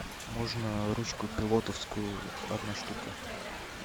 можно ручку пилотовскую одна штука